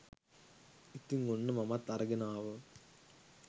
ඉතින් ඔන්න මමත් අරගෙන ආවා